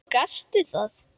Og gastu það?